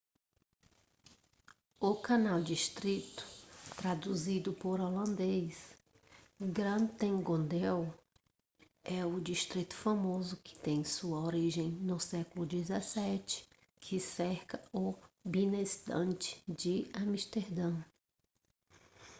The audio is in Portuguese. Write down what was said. o canal district traduzido do holandês: grachtengordel é o distrito famoso que tem sua origem no século 17 que cerca o binnenstad de amsterdã